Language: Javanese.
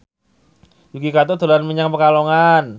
Yuki Kato dolan menyang Pekalongan